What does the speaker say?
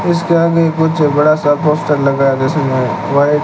उसके आगे कुछ बड़ा सा पोस्टर लगा जिसमें व्हाइट --